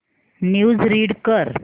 news read कर